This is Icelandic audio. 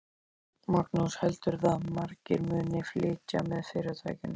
Magnús: Heldurðu að margir muni flytja með fyrirtækinu?